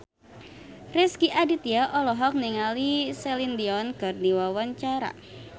Rezky Aditya olohok ningali Celine Dion keur diwawancara